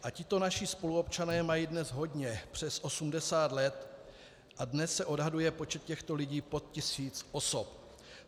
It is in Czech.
A tito naši spoluobčané mají dnes hodně přes 80 let a dnes se odhaduje počet těchto lidí pod tisíc osob.